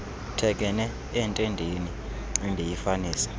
thekenee entendeni endiyifanisa